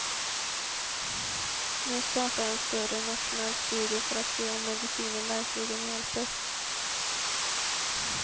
Nu startar en större, nationell studie för att se om medicinen verkligen hjälper.